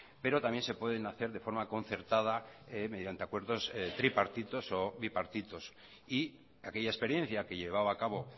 pero también se pueden hacer de forma concertada mediante acuerdos tripartitos o bipartitos y aquella experiencia que llevaba a cabo